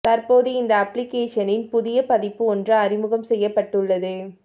தற்போது இந்த அப்பிளிக்கேஷனின் புதிய பதிப்பு ஒன்று அறிமுகம் செய்யப்பட்டுள்ளது